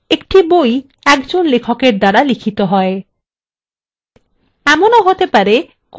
একটি বই একজন লেখকের দ্বারা লিখিত হয়